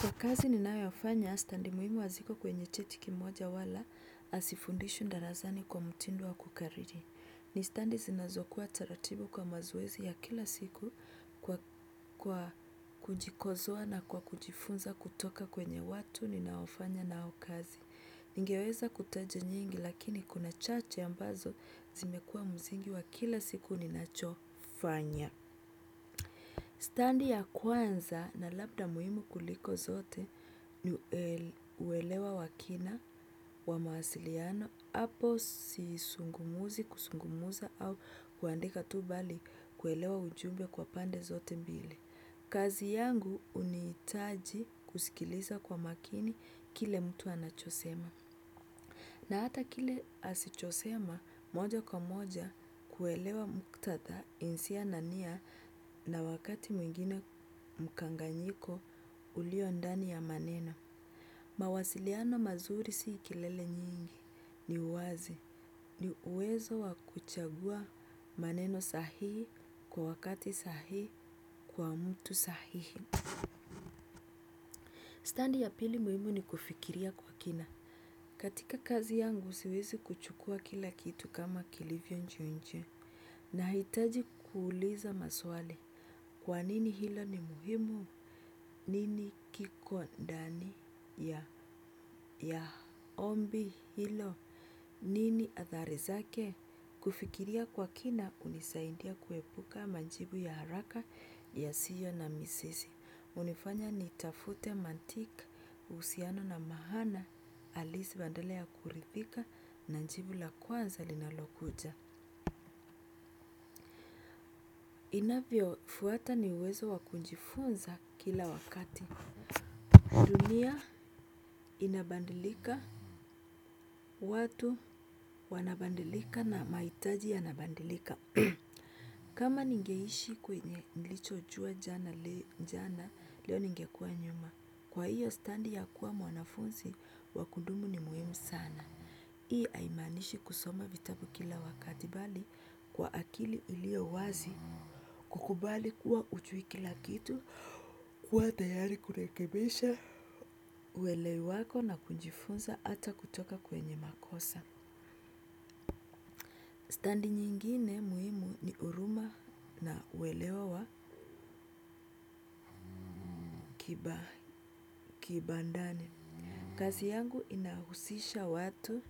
Kwa kazi ninayofanya stadi muhimu haziko kwenye cheti kimoja wala hasifundishi darasani kwa mutindo wa kukariri. Ni stadi zinazokuwa taratibu kwa mazoezi ya kila siku kwa kujikosoa na kwa kujifunza kutoka kwenye watu ninaofanya nao kazi. Ningeweza kutaja nyingi lakini kuna chache ambazo zimekuwa msingi wa kila siku ninachofanya. Stadi ya kwanza na labda muhimu kuliko zote ni uelewa wa kina wa mawasiliano hapo si zungumzi kuzungumza au kuandika tu bali kuelewa ujumbe kwa pande zote mbili. Kazi yangu hunitaji kusikiliza kwa makini kile mtu anachosema. Na hata kile asichosema moja kwa moja kuelewa muktatha insia na nia na wakati mwingine mkanganyiko ulio ndani ya maneno. Mawasiliano mazuri si kelele nyingi ni uwazi ni uwezo wa kuchagua maneno sahihi kwa wakati sahihi kwa mtu sahihi. Stadi ya pili muhimu ni kufikiria kwa kina. Katika kazi yangu siwezi kuchukua kila kitu kama kilivyo nje nje nahitaji kuuliza maswali kwa nini hilo ni muhimu nini kiko ndani ya ya ombi hilo, nini athari zake kufikiria kwa kina hunisaidia kuepuka majibu ya haraka ya sio na mizizi. Hunifanya ni tafute mantika husiano na maana alisi badala ya kuridhika na jibu la kwanza linalokuja. Inavyo fuata ni uwezo wa kujifunza kila wakati. Dunia inabadilika watu wanabadilika na mahitaji yanabadilika. Kama ningeishi kwenye nilichojua jana leo ningekuwa nyuma. Kwa hiyo stadi ya kuwa mwanafunzi, wa kundumu ni muhimu sana. Hii haimaanishi kusoma vitabu kila wakati bali kwa akili ilio wazi. Kukubali kuwa hujui kila kitu, kuwa tayari kurekebisha, uwele wako na kujifunza ata kutoka kwenye makosa. Stadi nyingine muhimu ni huruma na kuelewa wa kibandani. Kazi yangu inahusisha watu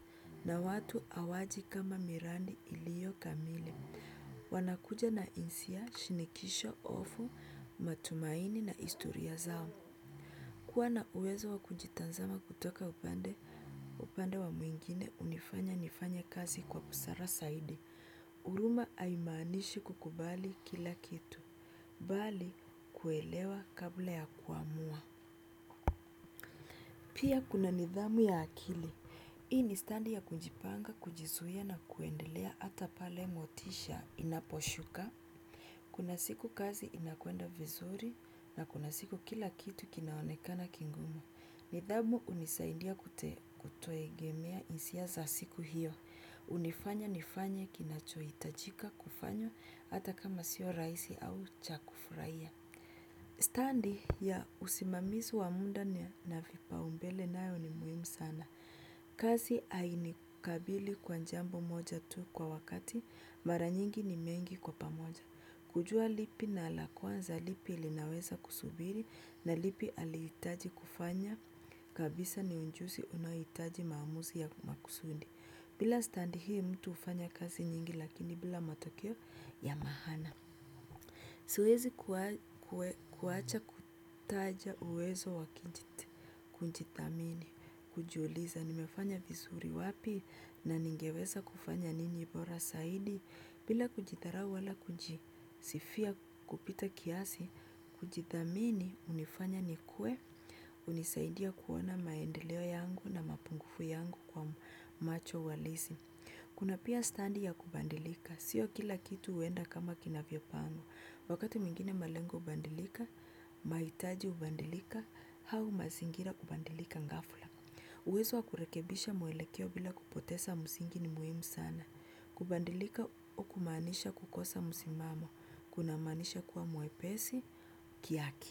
na watu hawaji kama miradi ilio kamili. Wanakuja na insia, shinikisho, hofu, matumaini na historia zao. Kuwa na uwezo wa kujitazama kutoka upande, upande wa mwingine unifanya nifanye kazi kwa busara zaidi. Huruma haimaanishi kukubali kila kitu, bali kuelewa kabla ya kuamua. Pia kuna nidhamu ya akili. Hii ni stadi ya kujipanga, kujizuia na kuendelea ata pale motisha inaposhuka. Kuna siku kazi inakwenda vizuri na kuna siku kila kitu kinaonekana kingumu. Nidhamu unisaidia kutuegemea insia za siku hiyo. Unifanya nifanye kinachohitajika kufanywa hata kama sio rahisi au cha kufurahia. Stadi ya usimamizi wa muda na vipaumbele nayo ni muhimu sana. Kazi hainikabili kwa jambo moja tu kwa wakati mara nyingi ni mengi kwa pamoja. Kujua lipi na la kwanza lipi ilinaweza kusubiri na lipi alitaji kufanya kabisa ni ujuzi unahitaji maamuzi ya makusudi. Bila stadi hii mtu hufanya kazi nyingi lakini bila matokeo ya maana. Siwezi kuacha kutaja uwezo wa kujithamini, kujiuliza, nimefanya vizuri wapi na ningeweza kufanya nini bora zaidi, bila kujidharau wala kujisifia pita kiasi, kujithamini, unifanya nikuwe, unisaidia kuona maendeleo yangu na mapungufu yangu kwa macho halisi. Kuna pia stadi ya kubadilika. Sio kila kitu huenda kama kinavyopangwa. Wakati mwingine malengo hubadilika, mahitaji hubadilika, au mazingira kubadilika gafla. Uwezo wa kurekebisha mwelekeo bila kupoteza msingi ni muhimu sana. Kubadilika kumaanisha kukosa msimamo. Kuna maanisha kuwa mwepesi kihaki.